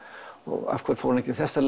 og af hverju fór hann ekki þessa